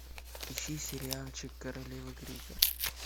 ищи сериальчик королевы крика